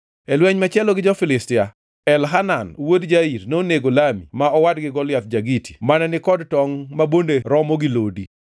E lweny machielo gi jo-Filistia, Elhanan wuod Jair nonego Lami ma owadgi Goliath ja-Giti mane ni kod tongʼ ma bonde romo gi lodi.